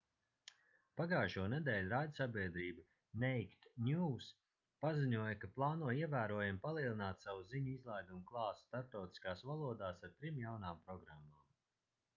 pagājušonedēļ raidsabiedrība naked news paziņoja ka plāno ievērojami palielināt savu ziņu izlaidumu klāstu starptautiskās valodās ar trim jaunām programmām